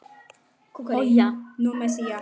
Spurði fólk á förnum vegi.